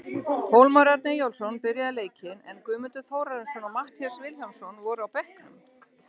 Hólmar Örn Eyjólfsson byrjaði leikinn, en Guðmundur Þórarinsson og Matthías Vilhjálmsson voru á bekknum.